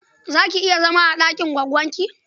Za ki iya zama a ɗakin goggonki?